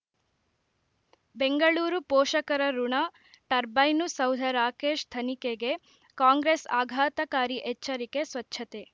ಬೆಂಗಳೂರು ಪೋಷಕರಋಣ ಟರ್ಬೈನು ಸೌಧ ರಾಕೇಶ್ ತನಿಖೆಗೆ ಕಾಂಗ್ರೆಸ್ ಆಘಾತಕಾರಿ ಎಚ್ಚರಿಕೆ ಸ್ವಚ್ಛತೆ